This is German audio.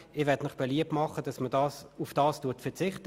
Ich mache Ihnen beliebt, darauf zu verzichten.